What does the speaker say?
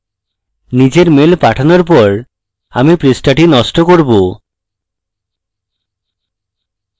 নিজের mail পাঠানোর পর আমি পৃষ্ঠাটি নষ্ট করব